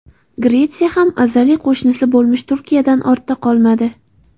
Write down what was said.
Gretsiya ham azaliy qo‘shnisi bo‘lmish Turkiyadan ortda qolmadi.